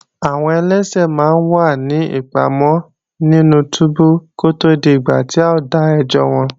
Àwọn ẹlẹ́ṣẹ̀ máa ń wà ní ìpamọ́ nínú túbú kó tó dìgbà tí a ó dá ẹjọ́ wọn